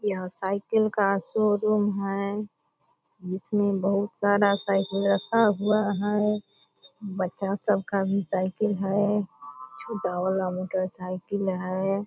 यहां साइकिल का शोरूम है जिसमें बहुत सारा साइकिल रखा हुआ है। बच्चा सब का भी साइकिल है। छोटा वाला मोटरसाइकिल है।